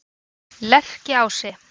Lerkiási